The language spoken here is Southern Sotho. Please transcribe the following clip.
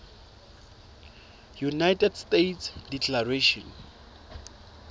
united states declaration